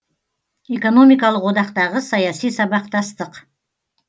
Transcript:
экономикалық одақтағы саяси сабақтастық